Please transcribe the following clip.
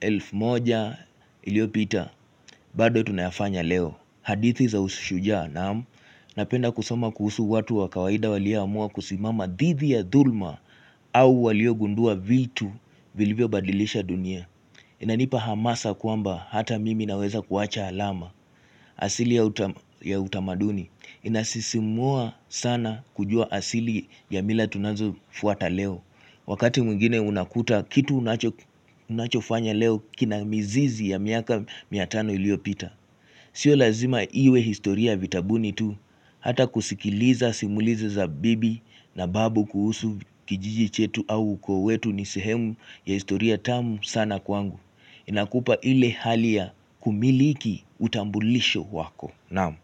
elfu moja iliopita bado tunayafanya leo hadithi za usushuja naamu Napenda kusoma kuhusu watu wa kawaida walia amua kusimama didhi ya dhulma au waliogundua vitu vilivyo badilisha dunia Inanipa hamasa kwamba hata mimi naweza kuwacha alama asili ya utamaduni Inasisimua sana kujua asili ya mila tunazo fuata leo Wakati mwingine unakuta kitu unachofanya leo kina mizizi ya miaka mia tano iliopita Sio lazima iwe historia vitabuni tu Hata kusikiliza simuliza za bibi na babu kuhusu kijiji chetu au ukoo nisihemu ya historia tamu sana kwangu Inakupa ile hali ya kumiliki utambulisho wako Naamu.